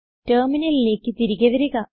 ടെർമിനലിലേക്ക് തിരികെ വരിക